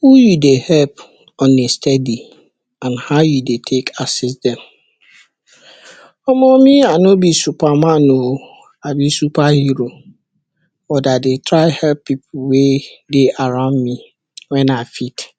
Who you dey help on a stedi and how you dey help take assist dem? Omo me I no be supa man o a be supa hero but I dey try help pipu wey dey around me wen I fit.